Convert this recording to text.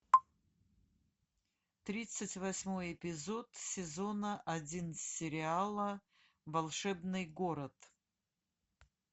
тридцать восьмой эпизод сезона один сериала волшебный город